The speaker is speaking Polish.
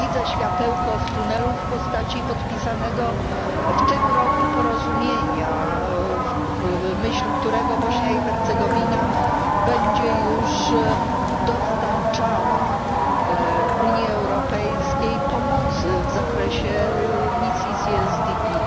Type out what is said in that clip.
Widzę światełko w tunelu w postaci podpisanego w tym roku porozumienia, w myśl którego Bośnia i Hercegowina będzie już świadczyła Unii Europejskiej pomoc w zakresie misji WPBiO.